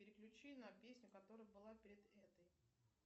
переключи на песню которая была перед этой